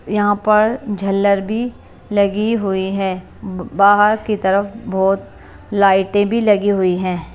यहां पर झल्लर भी लगी हुई है ब बाहर की तरफ बहुत लाइटें भी लगी हुई है ।